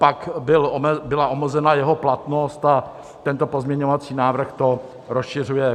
Pak byla omezena jeho platnost a tento pozměňovací návrh to rozšiřuje.